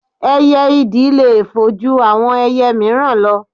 Ẹyẹ ìdì le fò ju àwọn ẹyẹ míìràn lọ